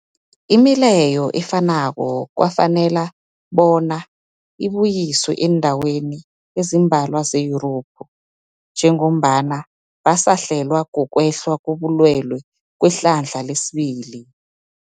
Imileyo efanako kwafanela bonyana ibuyiswe eendaweni ezimbalwa ze-Yurophu njengombana basahlelwa, kukwehla kobulwele kwehlandla lesibili.